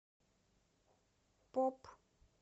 поп